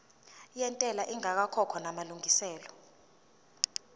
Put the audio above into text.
yentela ingakakhokhwa namalungiselo